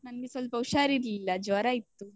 ನನ್ಗೆ ಸ್ವಲ್ಪ ಹುಷಾರಿರ್ಲಿಲ್ಲ ಜ್ವರ ಇತ್ತು.